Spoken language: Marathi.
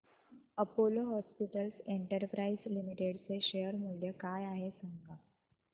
अपोलो हॉस्पिटल्स एंटरप्राइस लिमिटेड चे शेअर मूल्य काय आहे सांगा